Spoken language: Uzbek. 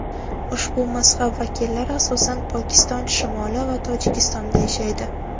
Ushbu mazhab vakillari asosan Pokiston shimoli va Tojikistonda yashaydi.